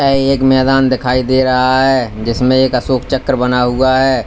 ये एक मैदान दिखाई दे रहा है जिसमें एक अशोक चक्र बना हुआ है।